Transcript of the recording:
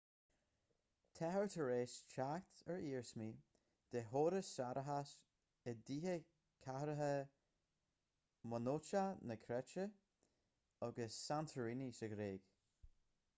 táthar tar éis teacht ar iarsmaí de chórais séarachais i dtithe chathracha mionócha na créite agus santorini sa ghréig